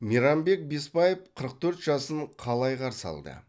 мейрамбек бесбаев қырық төрт жасын қалай қарсы алды